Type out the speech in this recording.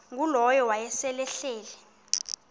ngulowo wayesel ehleli